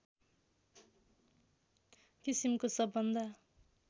किसिमको सबभन्दा